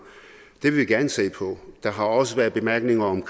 det vil vi gerne se på der har også været bemærkninger om